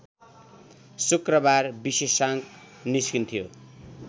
शुक्रबार विशेषांक निस्कन्थ्यो